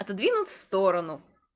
отодвинул в сторону